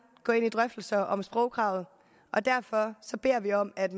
gå ind i drøftelserne om sprogkravet og derfor beder vi om at